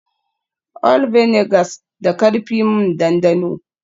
All vinegars da karfi m dandano